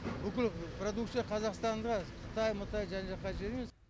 бүкіл продукция қазақстанда қытай мытай жан жаққа жібермемз